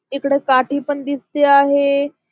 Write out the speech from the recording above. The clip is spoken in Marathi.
इकड काठी पण दिसती आहे.